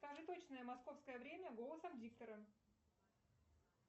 скажи точное московское время голосом диктора